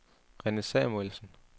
Rene Samuelsen